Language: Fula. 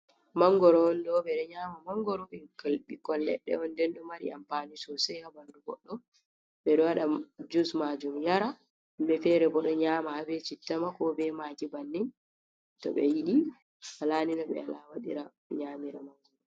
Mangoro on ɗo, ɓe ɗo nyaama mangoro, inkl ɓikkon leɗɗe on, nden ɗo mari ampaani soosay haa ɓanndu goɗɗo, ɓe ɗo waɗa jus maajum yara, be feere bo ɗo nyaama haa be citta ma koo be maagi bannin, to ɓe yiɗi wola ni no ɓe wola waɗira nyaamira mangoro.